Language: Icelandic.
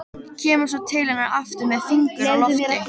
Kemur svo til hennar aftur með fingur á lofti.